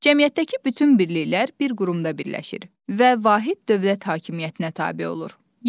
Cəmiyyətdəki bütün birliklər bir qurumda birləşir və vahid dövlət hakimiyyətinə tabe olur.